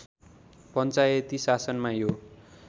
पञ्चायती शासनमा यो